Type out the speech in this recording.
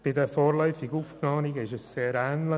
Bei den vorläufig Aufgenommenen ist es sehr ähnlich.